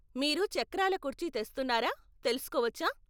మీరు చక్రాల కుర్చీ తెస్తున్నారా తెలుసుకోవచ్చా?